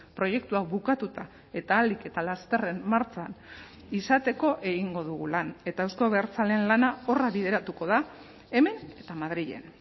proiektu hau bukatuta eta ahalik eta lasterren martxan izateko egingo dugu lan eta euzko abertzaleen lana horra bideratuko da hemen eta madrilen